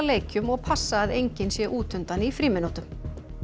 leikjum og passa að enginn sé útundan í frímínútum